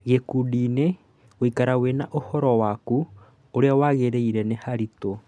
Gĩkundiinĩ, gũikara wĩna ũhoro waku ũrĩa wagĩrĩire nĩharitũ